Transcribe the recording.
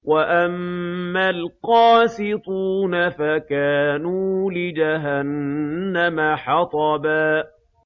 وَأَمَّا الْقَاسِطُونَ فَكَانُوا لِجَهَنَّمَ حَطَبًا